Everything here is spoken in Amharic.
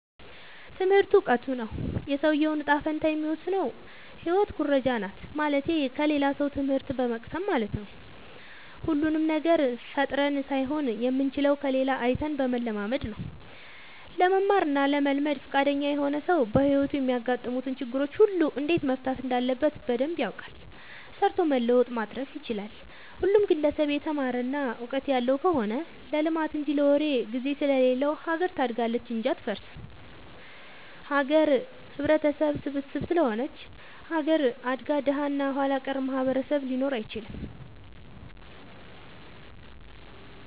ትምህርቱ እውቀቱ ነው። የሰውዬውን ጣፈንታ የሚወስነው ህይወት ኩረጃናት ማለትቴ ከሌላ ሰው ትምህት በመቅሰም ለማለት ነው። ሁሉንም ነገር ፈጥረን ሳይሆን የምንችለው ከሌላ አይተን በመለማመድ ነው። ለመማር እና ለመልመድ ፍቃደኛ የሆነ ሰው በህይወቱ የሚያጋጥሙትን ችግሮች ሁሉ እንዴት መፍታት እንዳለበት በደንብ ያውቃል ሰርቶ መለወጥ ማትረፍ ይችላል። ሁሉም ግለሰብ የተማረ እና ውቀጥት ያለው ከሆነ ለልማት እንጂ ለወሬ ግዜ ስለሌለው ሀገር ታድጋለች እንጂ አትፈርስም። ሀገር ህብረተሰብ ስብስብ ስለሆነች ሀገር አድጋ ደሀ እና ኋላቀር ማህበረሰብ ሊኖር አይችልም።